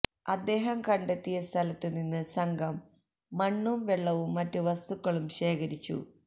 തദേഹം കണ്ടെത്തിയ സ്ഥലത്ത് നിന്ന് സംഘം മണ്ണും വെളളവും മറ്റ് വസ്തുക്കളും ശേഖരിച്ചു